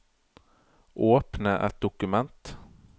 Åpne et dokument